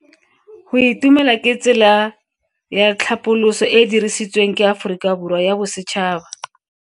Go itumela ke tsela ya tlhapoliso e e dirisitsweng ke Aforika Borwa ya Bosetšhaba.